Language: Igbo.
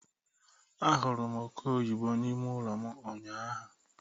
A hụrụ m oke oyibo n'ime ụlọ m ụnyaahụ.